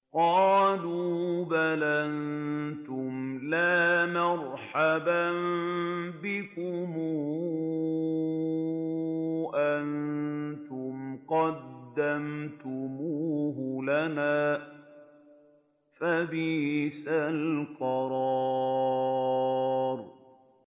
قَالُوا بَلْ أَنتُمْ لَا مَرْحَبًا بِكُمْ ۖ أَنتُمْ قَدَّمْتُمُوهُ لَنَا ۖ فَبِئْسَ الْقَرَارُ